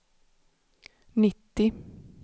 nittio